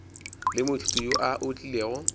le moithuti yo a otlilego